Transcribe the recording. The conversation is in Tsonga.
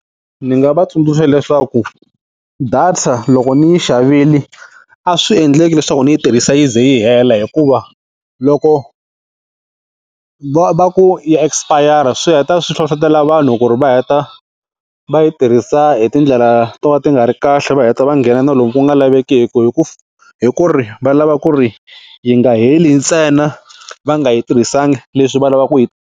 Ndzi nga va tsundzuxa leswaku data loko ni yi xavile a swi endleki leswaku ndzi yi tirhisa yi ze yi hela hikuva loko va va ku ya espayara swi heta swi hlohlotela vanhu ku ri va heta va yi tirhisa hi tindlela to va ti nga ri kahle va heta va nghena na lomu ku nga laveki hi ku hi ku ri va lava ku ri yi nga heli ntsena va nga yi tirhisanga leswi va lavaka ku yi.